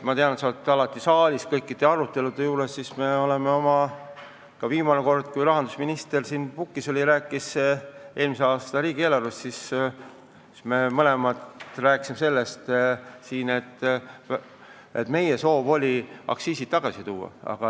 Ma tean, et sa oled alati kõikide arutelude ajal saalis ja kindlasti sa kuulsid, et viimane kord, kui rahandusminister siin puldis oli ja rääkis eelmise aasta riigieelarvest, siis ta kinnitas nagu minagi, et meie soov oli aktsiisid tagasi tuua.